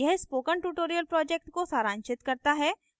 यह spoken tutorial project को सारांशित करता है